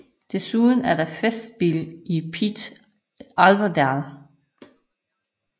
Desuden er der Festspel i Pite Älvdal